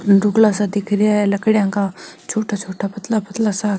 दुकड़ा सा दिख रहे है लकड़ी का छोटा छोटा पतला पतला सा --